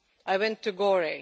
I went to Gori.